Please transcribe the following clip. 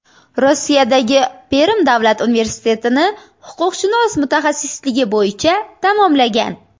Rossiyadagi Perm davlat universitetini huquqshunos mutaxassisligi bo‘yicha tamomlagan.